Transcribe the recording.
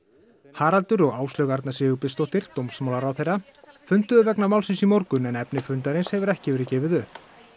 Haraldur og Áslaug Arna Sigurbjörnsdóttir dómsmálaráðherra funduðu vegna málsins í morgun en efni fundarins hefur ekki verið gefið upp